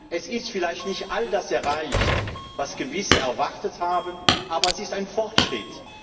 Es ist vielleicht nicht all das erreicht, was manche erwartet haben, aber es ist ein Fortschritt.